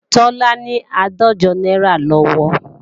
Tọ́lá ní àádọ́jọ náírà lọ́wọ́